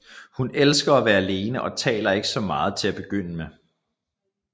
Hun elsker at være alene og taler ikke så meget til at begynde med